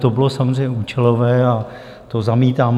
To bylo samozřejmě účelové a to zamítám.